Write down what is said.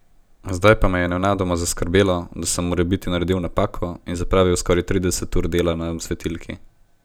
Zdaj pa me je nenadoma zaskrbelo, da sem morebiti naredil napako in zapravil skoraj trideset ur dela na svetilki.